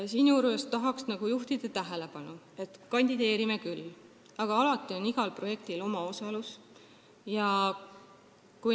Tahan juhtida tähelepanu, et me kandideerime küll, aga igal projektil on omaosalus.